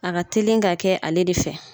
A ka teli ka kɛ ale de fɛ.